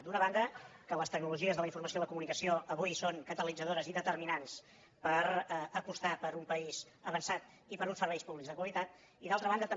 d’una banda que les tecnologies de la informació i la comunicació avui són catalitzadores i determinants per apostar per un país avançat i per uns serveis públics de qualitat i d’altra banda també